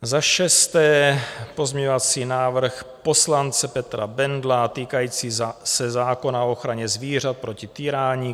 Za šesté pozměňovací návrh poslance Petra Bendla týkající se zákona o ochraně zvířat proti týrání.